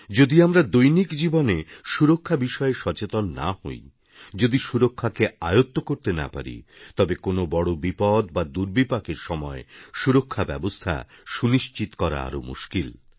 যদি আমরা দৈনিক জীবনে সুরক্ষা বিষয়ে সচেতন না হই যদি সুরক্ষাকে আয়ত্ত করতে না পারি তবে কোনও বড় বিপদ বা দুর্বিপাকের সময় সুরক্ষাব্যবস্থা সুনিশ্চিত করা আরও মুশকিল